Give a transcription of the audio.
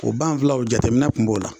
O banfulaw jateminɛ kun b'o la